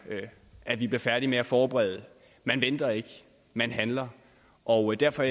at vi bliver færdige med at forberede man venter ikke man handler og derfor